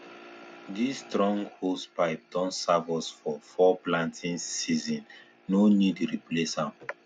this strong hosepipe don serve us for four planting seasonsno need replace am